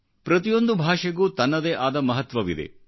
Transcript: ಪ್ರತಿಯೊಂದು ಭಾಷೆಗೂ ತನ್ನದೇ ಆದ ಮಹತ್ವವಿದೆ